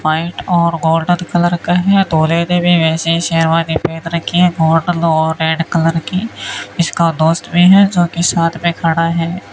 White और golden colour का है दूल्हे ने भी वैसे शेरवानी पहन रखी है गोल्डन और रेड कलर की इसका दोस्त भी है जोकि साथ में खड़ा है।